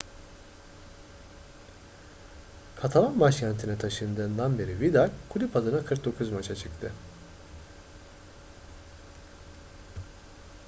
katalan başkentine taşındığından beri vidal kulüp adına 49 maça çıktı